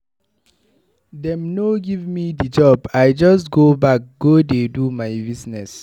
Dem no give me di job, I just go back go dey do my business.